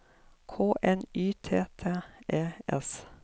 K N Y T T E S